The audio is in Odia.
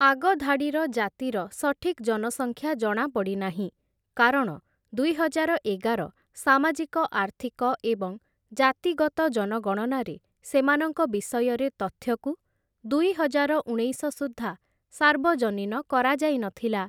ଆଗଧାଡ଼ିର ଜାତିର ସଠିକ୍‌ ଜନସଂଖ୍ୟା ଜଣାପଡ଼ି ନାହିଁ କାରଣ ଦୁଇହଜାର ଏଗାର ସାମାଜିକ ଆର୍ଥିକ ଏବଂ ଜାତିଗତ ଜନଗଣନାରେ ସେମାନଙ୍କ ବିଷୟରେ ତଥ୍ୟକୁ ଦୁଇହଜାର ଉଣେଇଶ ସୁଦ୍ଧା ସାର୍ବଜନୀନ କରାଯାଇନଥିଲା ।